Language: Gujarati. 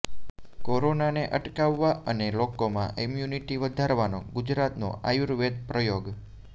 કોરોનાને અટકાવવા અને લોકોમાં ઈમ્યુનિટી વધારવાનો ગુજરાતનો આયુર્વેદ પ્રયોગ